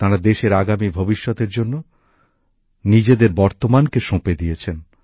তাঁরা দেশের আগামী ভবিষ্যতের জন্য নিজেদের বর্তমানকে সঁপে দিয়েছেন